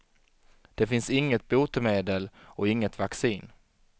Det finns inget botemedel och inget vaccin.